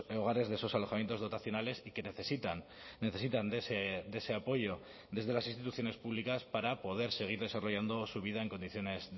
hogares de esos alojamientos dotacionales y que necesitan necesitan de ese apoyo desde las instituciones públicas para poder seguir desarrollando su vida en condiciones